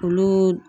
Olu